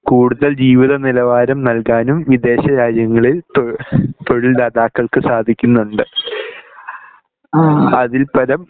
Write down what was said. കൂടുതൽ ജീവിതനിലവാരം നൽകാനും വിദേശ രാജ്യങ്ങളിൽ തൊഴിൽ തൊഴിൽ ദാതാക്കൾക്ക് സാധിക്കുന്നുണ്ട് അതില്പരം